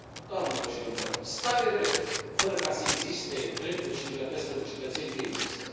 Doamnelor și domnilor stat de drept fără ca să existe drepturi și libertăți pentru cetățeni nu există.